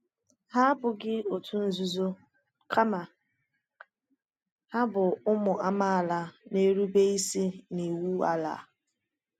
Hà abụghị òtù nzuzo, kama hà bụ ụmụ amaala na-erube isi n’iwu ala.